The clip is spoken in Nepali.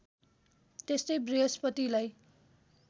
त्यस्तै वृहस्पतिलाई